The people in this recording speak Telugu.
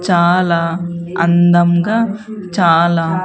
చాలా అందంగా చాలా.